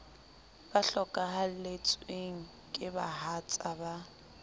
ba hlokahalletsweng ke bahatsa ba